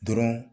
Dɔrɔn